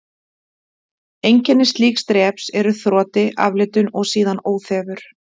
Einkenni slíks dreps eru þroti, aflitun og síðan óþefur.